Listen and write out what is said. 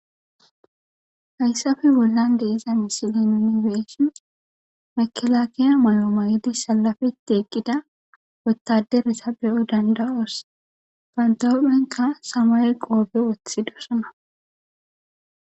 Hayssafe bollan deeza misile ninibeeshin makilaakiya malomayidi salafetie eqqida wottaderesa be7o dandawoos pantophenka samay qoobe wothi dosana